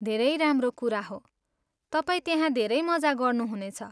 धेरै राम्रो कुरा हो, तपाईँ त्यहाँ धेरै मजा गर्नु हुनेछ।